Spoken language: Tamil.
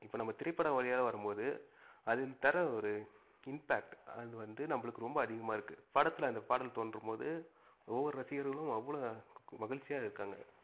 இப்ப நம்ப திரை பட வழியாக வரும்போது, அதுக்கு தர ஒரு impact அது வந்து நமக்கு ரொம்ப அதிகமா இருக்கு. படத்துல அந்த பாடல் தோன்றும் போது ஒவ்வொரு ரசிகர்களும் அவ்ளோ மகிழ்ச்சியா இருக்காங்க.